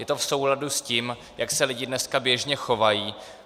Je to v souladu s tím, jak se lidé dneska běžně chovají.